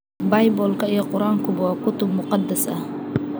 Baybalka iyo Quraankuba waa kutub muqadas ah.